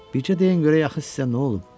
Bircə deyin görək axı sizə nə olub?